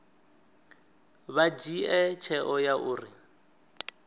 vha dzhie tsheo ya uri